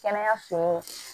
Kɛnɛyaso